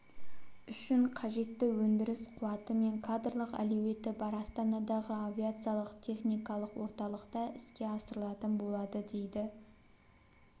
үшін қажетті өндіріс қуаты мен кадрлық әлеуеті бар астанадағы авиациялық-техникалық орталықта іске асырылатын болады дейді